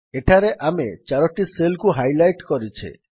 ଏଠାରେ ଆମେ ୪ଟି ସେଲ୍ କୁ ହାଇଲାଇଟ୍ କରିଛେ